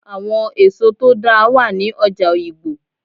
Àwọn èso tó dáa wà ní ọjà Oyigbo